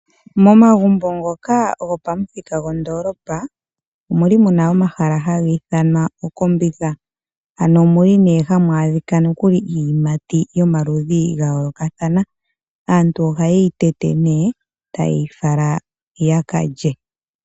Momagumbo ngoka gopamuthika gondoolopa omuli hamu adhika omahala haku ithanwa okombitha ano omuli nee hamu adhika iiyimati yomaludhi gayoolokathana aantu ohaye yi tete ne taye yi fala yakalye.